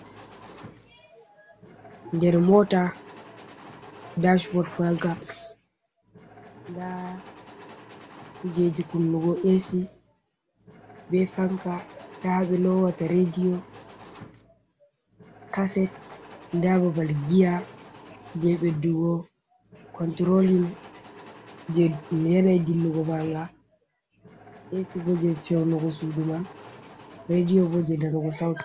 Nder mota dachbort maga nda kujeji kunnugo esi be fanca, nda ha ɓe lowata radio caset, nda babal gia je ɓe ɓedugo controling je no yanayi dillugo manga, es bo je feunugo suduman, radio bo je nanugo sautu.